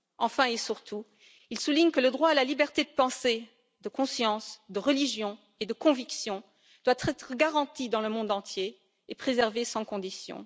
Enfin et surtout, il souligne que le droit à la liberté de pensée, de conscience, de religion et de conviction doit être garanti dans le monde entier et préservé sans conditions.